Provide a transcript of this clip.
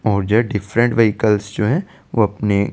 मुझे different vehicle जो है वो अपने --